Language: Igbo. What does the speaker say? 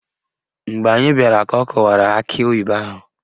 Mgbe anyị bịara ka ọ kụwara akị oyibo ahụ